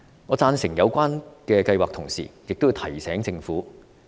我贊成有關計劃，同時亦要提醒政府數點。